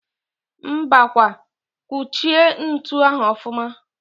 Mbakwa! Kuchie ntu ahụ ọfụma!